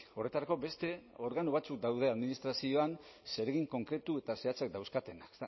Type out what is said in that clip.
horretarako beste organo batzuk daude administrazioan zeregin konkretu eta zehatzak dauzkatenak